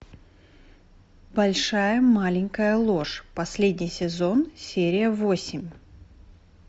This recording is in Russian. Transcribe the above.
большая маленькая ложь последний сезон серия восемь